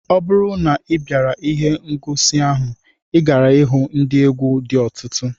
Ọ bụrụ na ị bịara ihe ngosi ahụ, ị gaara ihu ndị egwu dị ọtụtụ